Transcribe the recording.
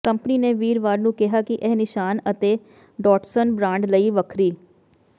company ਨੇ ਵੀਰਵਾਰ ਨੂੰ ਕਿਹਾ ਕਿ ਇਹ ਨਿਸ਼ਾਨ ਅਤੇ ਡੌਟਸਨ ਬ੍ਰਾਂਡ ਲਈ ਵੱਖਰੀ